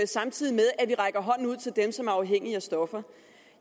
samtidig med at vi rækker hånden ud til dem som er afhængige af stoffer